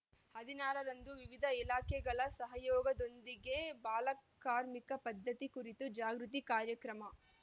ಹದಿನಾರರಂದು ವಿವಿಧ ಇಲಾಖೆಗಳ ಸಹಯೋಗದೊಂದಿಗೆ ಬಾಲಕಾರ್ಮಿಕ ಪದ್ಧತಿ ಕುರಿತು ಜಾಗೃತಿ ಕಾರ್ಯಕ್ರಮ